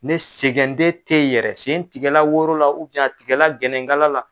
Ne sɛgɛnden tɛ ye yɛrɛ sen tigɛla woro la tigɛla gɛnɛnkala la.